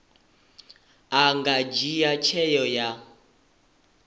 a nga dzhia tsheo ya